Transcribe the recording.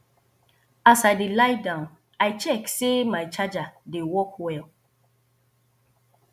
as i dey lie down i check say my charger dey work well